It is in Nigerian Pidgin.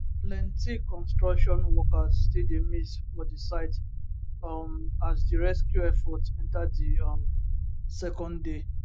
plenti construction workers still dey miss for di site um as di rescue effort enta di um second day